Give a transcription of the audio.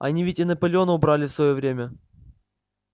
они ведь и наполеона убрали в своё время